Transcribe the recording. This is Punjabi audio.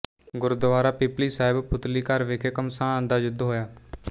ਗੁਰਦੁਆਰਾ ਪਿਪਲੀ ਸਾਹਿਬ ਪੁਤਲੀਘਰ ਵਿਖੇ ਘਮਸਾਨ ਦਾ ਯੁੱਧ ਹੋਇਆ